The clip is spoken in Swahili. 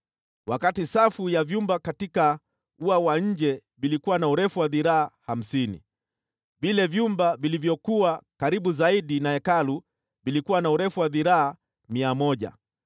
Wakati safu ya vyumba katika ua wa nje vilikuwa na urefu wa dhiraa hamsini, vile vyumba vilivyokuwa karibu zaidi na Hekalu vilikuwa na urefu wa dhiraa mia moja.